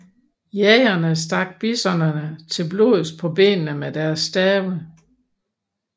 Jægerne stak bisonerne til blods på benene med deres stave